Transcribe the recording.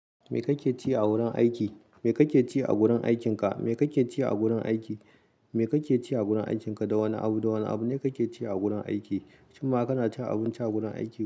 Me kake ci a wurin aiki? Me kake ci a gurin aikinka? Me kake ci a gurin aiki? Me kake ci a gurin aikinka? Da wane abu, da wane abu ne kake ci a gurin aiki? Shin ma kana cin abinci a gurin aiki?